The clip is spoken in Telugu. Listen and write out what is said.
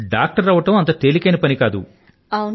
డాక్టర్ అవ్వడం అంత తేలికైన పని కాదు